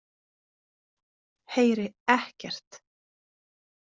Heyri ekkert.